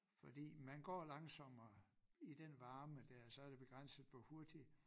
Fordi man går langsommere i den varme dér og så det begrænset hvor hurtigt